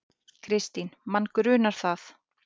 Kristín: Mann grunar það.